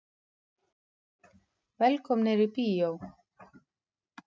Velkomnir í bíó.